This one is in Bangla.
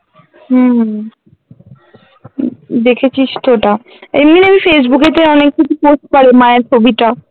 হম দেখেছিস তো ওটা এমনিতে আমি ফেইসবুক এতে আমি কিছু post করি মায়ের ছবিটা